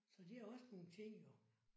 Så det er også nogle ting jo